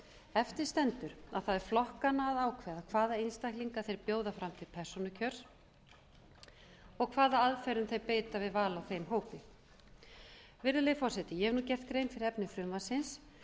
eftir stendur að það er flokkanna að ákveða hvaða einstaklingar þeir bjóða fram til persónukjörs og hvaða aðferðum þeir beita við val á þeim hópi virðulegi forseti ég hef gert grein fyrir efni frumvarpsins